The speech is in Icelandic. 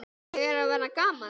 Ég er að verða gamall.